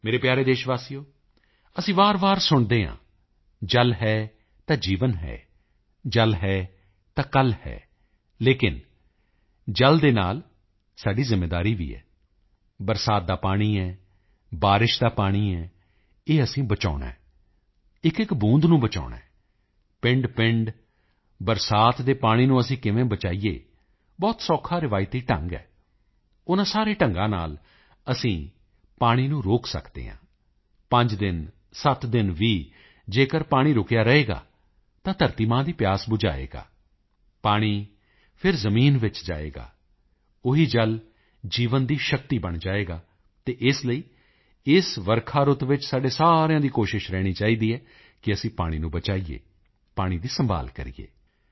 ਮੇਰੇ ਪਿਆਰੇ ਦੇਸ਼ਵਾਸੀਓ ਅਸੀਂ ਵਾਰਵਾਰ ਸੁਣਦੇ ਹਾਂ ਜਲ ਹੈ ਤਾਂ ਜੀਵਨ ਹੈ ਜਲ ਹੈ ਤਾਂ ਕੱਲ੍ਹ ਹੈ ਲੇਕਿਨ ਜਲ ਦੇ ਨਾਲ ਸਾਡੀ ਜ਼ਿੰਮੇਵਾਰੀ ਵੀ ਹੈ ਵਰਖਾ ਦਾ ਪਾਣੀ ਹੈ ਬਾਰਿਸ਼ ਦਾ ਪਾਣੀ ਹੈ ਇਹ ਸਾਨੂੰ ਬਚਾਉਣਾ ਹੈ ਇੱਕਇੱਕ ਬੂੰਦ ਨੂੰ ਬਚਾਉਣਾ ਹੈ ਪਿੰਡਪਿੰਡ ਬਰਸਾਤ ਦੇ ਪਾਣੀ ਨੂੰ ਅਸੀਂ ਕਿਵੇਂ ਬਚਾਈਏ ਬਹੁਤ ਸੌਖਾ ਰਵਾਇਤੀ ਢੰਗ ਹੈ ਉਨ੍ਹਾਂ ਸਾਰੇ ਢੰਗਾਂ ਨਾਲ ਅਸੀਂ ਪਾਣੀ ਨੂੰ ਰੋਕ ਸਕਦੇ ਹਾਂ 5 ਦਿਨ 7 ਦਿਨ ਵੀ ਅਗਰ ਪਾਣੀ ਰੁਕਿਆ ਰਹੇਗਾ ਤਾਂ ਧਰਤੀ ਮਾਂ ਦੀ ਪਿਆਸ ਬੁਝਾਏਗਾ ਪਾਣੀ ਫਿਰ ਜ਼ਮੀਨ ਵਿੱਚ ਜਾਏਗਾ ਉਹੀ ਜਲ ਜੀਵਨ ਦੀ ਸ਼ਕਤੀ ਬਣ ਜਾਏਗਾ ਅਤੇ ਇਸ ਲਈ ਇਸ ਵਰਖਾ ਰੁੱਤ ਵਿੱਚ ਸਾਡੇ ਸਾਰਿਆਂ ਦਾ ਪ੍ਰਯਤਨ ਰਹਿਣਾ ਚਾਹੀਦਾ ਹੈ ਕਿ ਅਸੀਂ ਪਾਣੀ ਨੂੰ ਬਚਾਈਏ ਪਾਣੀ ਦੀ ਸੰਭਾਲ ਕਰੀਏ